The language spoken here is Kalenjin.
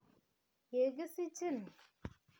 Ye kisichin